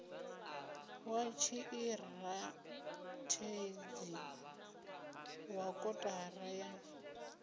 wa tshiṱirathedzhi wa kotara ya